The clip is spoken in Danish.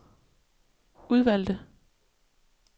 udvalgte